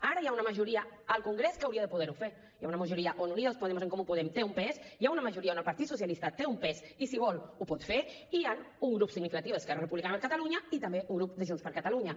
ara hi ha una majoria al congrés que hauria de poder ho fer hi ha una majoria on unidas podemos en comú podem té un pes hi ha una majoria on el partit socialista té un pes i si vol ho pot fer i hi ha un grup significatiu d’esquerra republicana de catalunya i també un grup de junts per catalunya